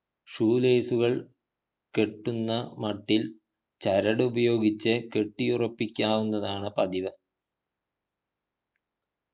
shoe lace കെട്ടുന്ന മട്ടിൽ ചരടു ഉപയോഗിച്ച് കെട്ടിയുറപിക്കാവുന്നതാണ് പതിവ്